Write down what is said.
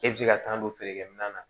E bɛ se ka tan don feerekɛ minɛn na